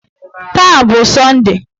Taa a bụ sọnde?